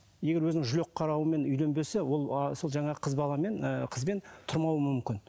егер өзінің жүрек үйленбесе ол асылы жаңағы қыз баламен ыыы қызбен тұрмауы мүмкін